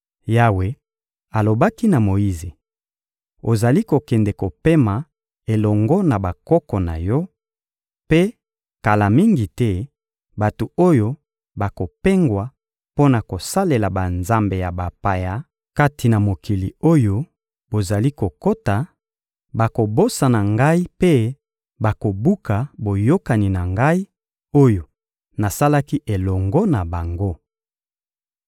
Yawe alobaki na Moyize: «Ozali kokende kopema elongo na bakoko na yo; mpe, kala mingi te, bato oyo bakopengwa mpo na kosalela banzambe ya bapaya kati na mokili oyo bozali kokota, bakobosana Ngai mpe bakobuka boyokani na Ngai, oyo nasalaki elongo na bango.